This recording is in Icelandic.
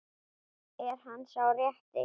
Er hann sá rétti?